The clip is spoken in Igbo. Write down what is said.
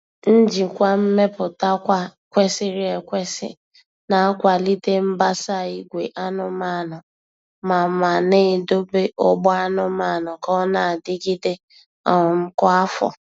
Njikwa mmeputakwa kwesịrị ekwesị na-akwalite mbasa ìgwè anụmanụ ma ma na-edobe ọgbọ anụmanụ ka ọ na-adịgide um kwa afọ.